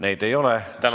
Neid ei ole.